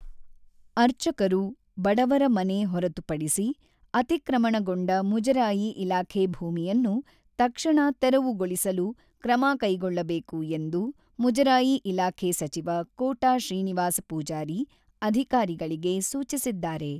ಅರ್ಚಕರು, ಬಡವರ ಮನೆ ಹೊರತುಪಡಿಸಿ ಅತಿಕ್ರಮಣಗೊಂಡ ಮುಜರಾಯಿ ಇಲಾಖೆ ಭೂಮಿಯನ್ನು ತಕ್ಷಣ ತೆರವುಗೊಳಿಸಲು ಕ್ರಮ ಕೈಗೊಳ್ಳಬೇಕು ಎಂದು ಮುಜರಾಯಿ ಇಲಾಖೆ ಸಚಿವ ಕೋಟ ಶ್ರೀನಿವಾಸ ಪೂಜಾರಿ ಅಧಿಕಾರಿಗಳಿಗೆ ಸೂಚಿಸಿದ್ದಾರೆ.